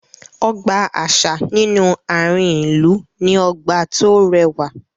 Ọgbà àṣà nínú àárín ìlú ní ọgbà tó rẹwà